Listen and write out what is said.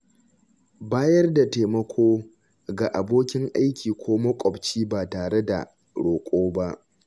Bayar da taimako ga abokin aiki ko maƙwabci ba tare da roƙo ba.